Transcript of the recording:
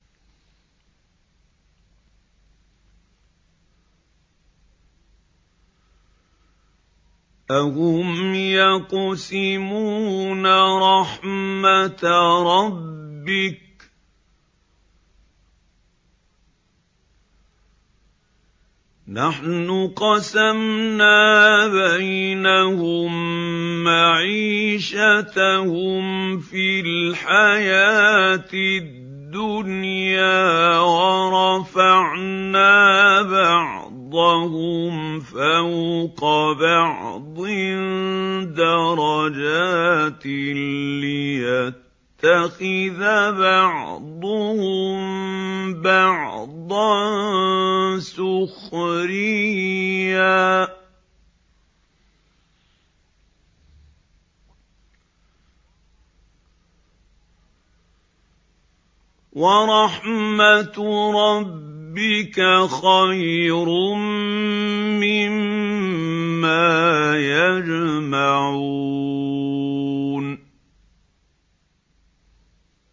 أَهُمْ يَقْسِمُونَ رَحْمَتَ رَبِّكَ ۚ نَحْنُ قَسَمْنَا بَيْنَهُم مَّعِيشَتَهُمْ فِي الْحَيَاةِ الدُّنْيَا ۚ وَرَفَعْنَا بَعْضَهُمْ فَوْقَ بَعْضٍ دَرَجَاتٍ لِّيَتَّخِذَ بَعْضُهُم بَعْضًا سُخْرِيًّا ۗ وَرَحْمَتُ رَبِّكَ خَيْرٌ مِّمَّا يَجْمَعُونَ